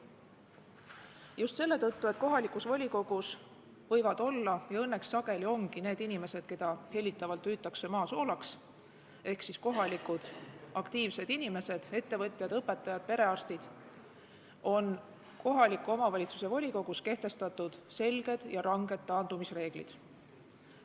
Just selle tõttu, et kohalikus volikogus võivad olla – ja õnneks sageli ongi – need inimesed, keda hellitavalt hüütakse maa soolaks ehk kohalikud aktiivsed inimesed, ettevõtjad, õpetajad, perearstid, on kohaliku omavalitsuse volikogus kehtestatud selged ja ranged taandumisreeglid.